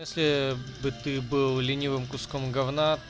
если бы ты был ленивым куском говна